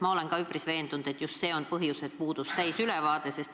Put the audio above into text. Ma olen ka üpris veendunud, et põhjus oli just see, et puudus täielik ülevaade.